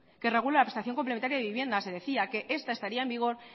que regula la prestación complementaria de viviendas se decía que esta estaría en vigor